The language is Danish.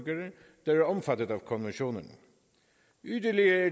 der er omfattet af konventionerne yderligere